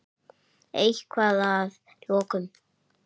Eitthvað að að lokum?